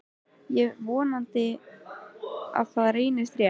Ég vonaði að það reyndist rétt.